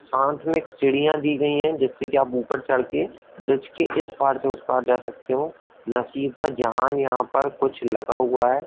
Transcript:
साथ में एक सीढियाँ दी गई है जिससे कि आप ऊपर चढ़ के ब्रिज के इस पार से उस पार जा सकते हो । नसीफ़ा जहांन यहाॅं पर कुछ लगा हुआ हैं ।